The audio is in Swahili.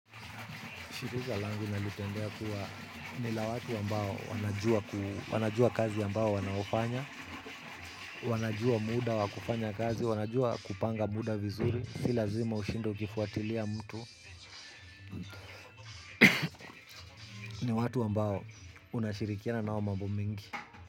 Shirika langu nalipendea kuwa ni la watu ambao wanajua kazi ambao wanaofanya, wanajua muda wakufanya kazi, wanajua kupanga muda vizuri, si lazima ushinde ukifuatilia mtu. Ni watu wambao unashirikiana nao mambo mingi.